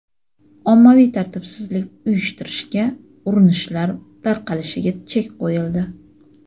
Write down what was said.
ommaviy tartibsizlik uyushtirishga urinishlar tarqalishiga chek qo‘yildi.